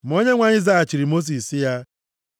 Ma Onyenwe anyị zaghachiri Mosis sị ya,